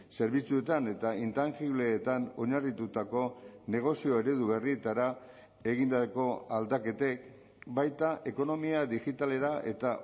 zerbitzuetan eta intangibleetan oinarritutako negozio eredu berrietara egindako aldaketek baita ekonomia digitalera eta